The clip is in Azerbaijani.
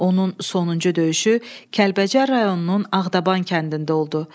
Onun sonuncu döyüşü Kəlbəcər rayonunun Ağdaban kəndində oldu.